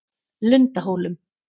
Lundahólum